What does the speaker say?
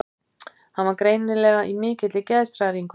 Hann var greinilega í mikilli geðshræringu.